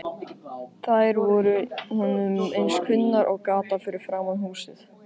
Þær voru honum eins kunnar og gatan framan við húsið.